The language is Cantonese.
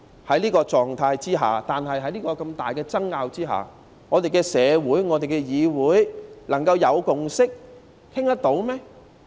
在這狀態下、在這麼大的爭拗下，香港的社會、立法會能夠有共識討論事情嗎？